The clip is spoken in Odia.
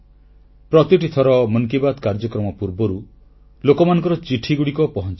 ପ୍ରତିଟି ଥର ମନ୍ କି ବାତ୍ କାର୍ଯ୍ୟକ୍ରମ ପୂର୍ବରୁ ଲୋକମାନଙ୍କର ଚିଠିଗୁଡ଼ିକ ପହଂଚେ